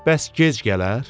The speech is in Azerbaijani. Bəs gec gələr?